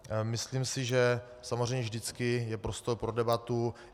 Myslím si, že samozřejmě vždycky je prostor pro debatu.